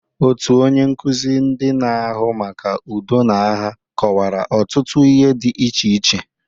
Otu onye nkuzi ndị na-ahụ maka udo na agha kọwara ọtụtụ ihe dị iche iche.